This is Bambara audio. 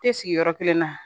Tɛ sigi yɔrɔ kelen na